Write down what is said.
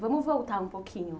Vamos voltar um pouquinho.